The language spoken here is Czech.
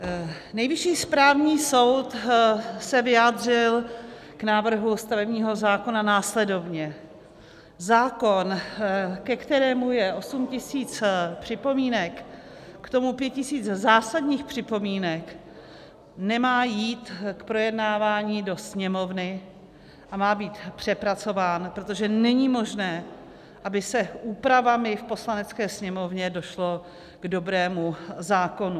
Nejvyšší správní soud se vyjádřil k návrhu stavebního zákona následovně: Zákon, ke kterému je 8 tisíc připomínek, k tomu 5 tisíc zásadních připomínek, nemá jít k projednávání do Sněmovny a má být přepracován, protože není možné, aby se úpravami v Poslanecké sněmovně došlo k dobrému zákonu.